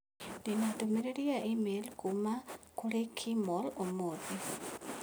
Ndi na ndũmĩrĩri ya i-mīrū kuuma kũrĩ Kimall ũmũthĩ.